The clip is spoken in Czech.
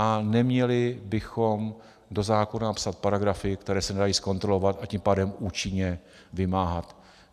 A neměli bychom do zákona napsat paragrafy, které se nedají zkontrolovat, a tím pádem účinně vymáhat.